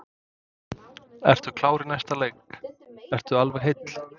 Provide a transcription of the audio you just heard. Ertu klár í næsta leik, ertu alveg heill?